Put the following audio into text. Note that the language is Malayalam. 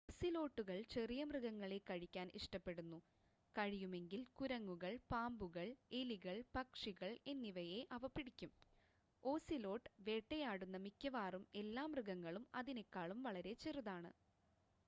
ഓസിലോട്ടുകൾ ചെറിയ മൃഗങ്ങളെ കഴിക്കാൻ ഇഷ്ടപ്പെടുന്നു കഴിയുമെങ്കിൽ കുരങ്ങുകൾ പാമ്പുകൾ എലികൾ പക്ഷികൾ എന്നിവയെ അവ പിടിക്കും ഓസിലോട്ട് വേട്ടയാടുന്ന മിക്കവാറും എല്ലാ മൃഗങ്ങളും അതിനേക്കാളും വളരെ ചെറുതാണ്